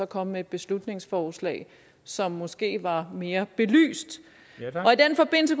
kommet med et beslutningsforslag som måske var mere belyst i den forbindelse